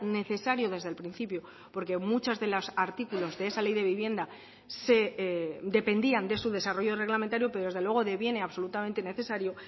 necesario desde el principio porque muchos de los artículos de esa ley de vivienda dependían de su desarrollo reglamentario pero desde luego deviene absolutamente necesario